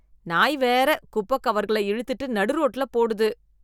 நாய் வேற குப்பை கவர்களை இழுத்துட்டு நடு ரோட்டுல போடுது.